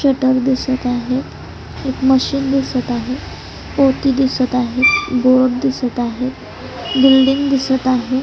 Shutter दिसत आहे एक मशीन दिसत आहे पोती दिसत आहे बोर्ड दिसत आहे बिल्डींग दिसत आहे.